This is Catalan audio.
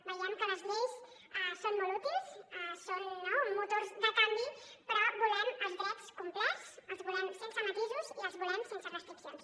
veiem que les lleis són molt útils són motors de canvi però volem els drets complets els volem sense matisos i els volem sense restriccions